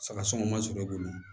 Saga sɔngɔ ma sɔrɔ i bolo